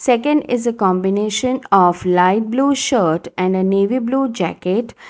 Second is a combination of light blue shirt and navy blue jacket.